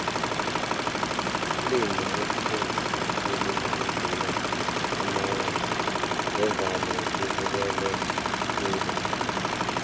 iflimu elithengisa khulu ukudlula amanye ngevane libukelwe khulu